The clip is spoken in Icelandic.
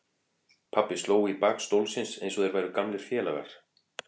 Pabbi sló í bak stólsins eins og þeir væru gamlir félagar.